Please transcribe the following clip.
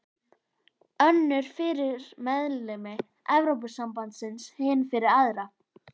Önnur fyrir meðlimi Evrópusambandsins, hin fyrir aðra.